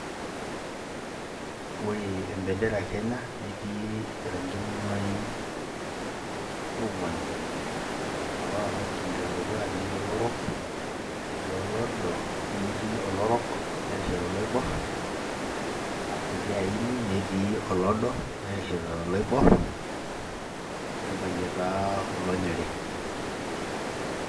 Ore embendera e Kenya netii irang'in imuain ong'uan, aa ore orang'i le dukuya netii olorok, netii olodo, a netii olorok nerishita oloibor aa orkiti aini, netii olodo nerishita oloibor, nebayie taa olonyori.